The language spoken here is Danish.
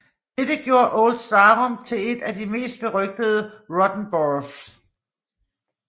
Dette gjorde Old Sarum til et af de mest berygtede rotten borough